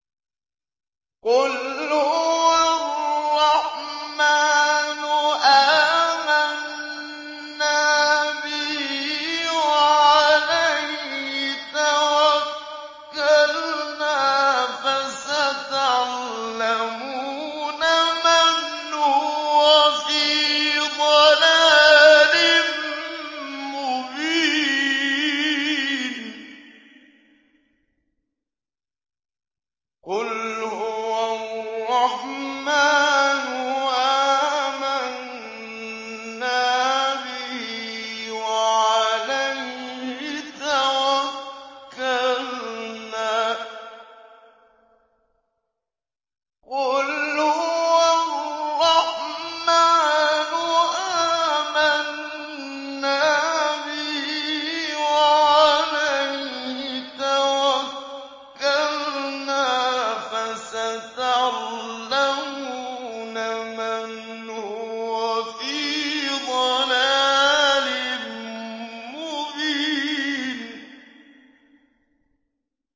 قُلْ هُوَ الرَّحْمَٰنُ آمَنَّا بِهِ وَعَلَيْهِ تَوَكَّلْنَا ۖ فَسَتَعْلَمُونَ مَنْ هُوَ فِي ضَلَالٍ مُّبِينٍ